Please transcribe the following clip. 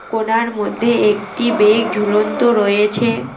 কোনার মধ্যে একটি বেগ ঝুলন্ত রয়েছে।